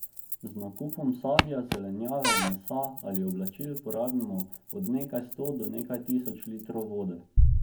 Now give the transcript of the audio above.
Z nakupom sadja, zelenjave, mesa ali oblačil porabimo od nekaj sto do nekaj tisoč litrov vode.